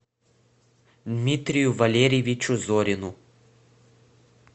дмитрию валерьевичу зорину